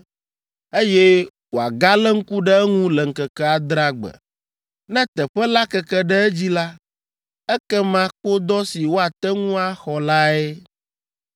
eye wòagalé ŋku ɖe eŋu le ŋkeke adrea gbe. Ne teƒe la keke ɖe edzi la, ekema kpodɔ si woate ŋu axɔ lae.